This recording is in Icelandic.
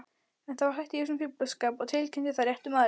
Þá hætti ég þessum fíflaskap og tilkynnti það réttum aðilum.